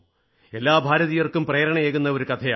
എല്ലാ ഭാരതീയർക്കും പ്രേരണയേകുന്ന ഒരു കഥയാണ്